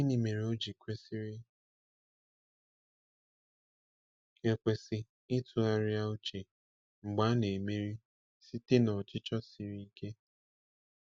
Gịnị mere ọ ji kwesịrị ekwesị ịtụgharịa uche mgbe a na-emeri site n’ọchịchọ siri ike?